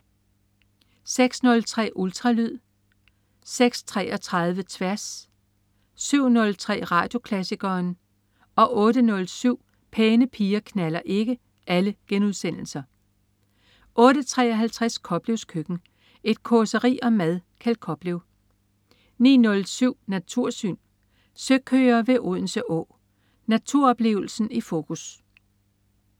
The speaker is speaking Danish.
06.03 Ultralyd* 06.33 Tværs* 07.03 Radioklassikeren* 08.07 Pæne piger knalder ikke* 08.53 Koplevs Køkken. Et causeri om mad. Kjeld Koplev 09.07 Natursyn. Søkøer ved Odense Å. Naturoplevelsen i fokus